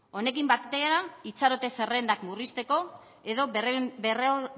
honekin batera itxarote zerrendak murrizteko edo